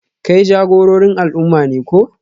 Kai jagororin al'umma ne ko?